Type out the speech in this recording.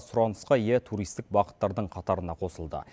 сұранысқа ие туристік бағыттардың қатарына қосылды